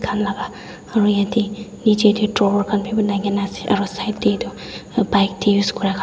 han laga aro yate nichete drawer khan bi bunai kena ase aro side te etu bike te use kura khan--